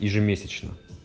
ежемесячно